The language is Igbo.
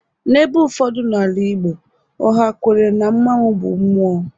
n'ebe ụfọdụ n'ala Igbo, ọ ha-kwere na mmanwu bụ mmụọ